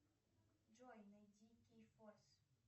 джой найди кей форс